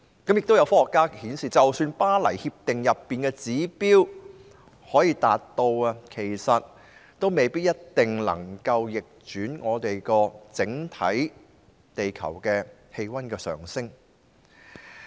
也有科學家指出，即使能夠達到《巴黎協定》中的指標，也未必一定能逆轉整體地球氣溫的上升。